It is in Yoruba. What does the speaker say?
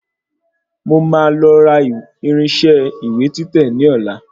Mo máa lọ ra irinṣẹ́ ìwé títẹ̀ ní ọ̀la